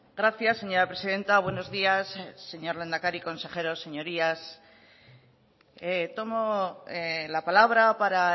gracias señora presidenta buenos días señor lehendakari consejeros señorías tomo la palabra para